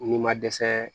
N'i ma dɛsɛ